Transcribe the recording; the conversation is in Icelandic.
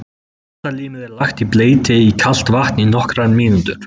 Matarlímið er lagt í bleyti í kalt vatn í nokkrar mínútur.